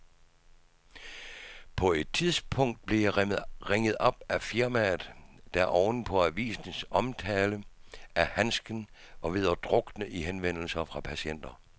På et tidspunkt blev jeg ringet op af firmaet, der oven på avisens omtale af handsken var ved at drukne i henvendelser fra patienter.